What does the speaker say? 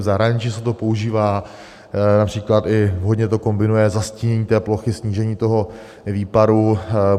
V zahraničí se to používá, například i vhodně to kombinuje zastínění té plochy, snížení toho výparu.